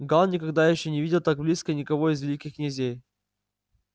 гаал никогда ещё не видел так близко никого из великих князей